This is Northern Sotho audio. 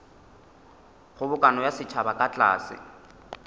kgobokano ya setšhaba ka tlase